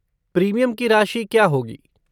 Premium की राशि क्या होगी?